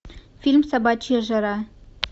фильм собачья жара